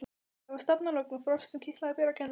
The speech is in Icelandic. Það var stafalogn og frost sem kitlaði berar kinnar.